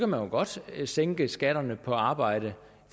man godt kan sænke skatterne på arbejde